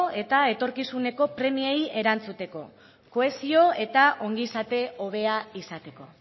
eta etorkizuneko premiei erantzuteko kohesio eta ongizate hobea izateko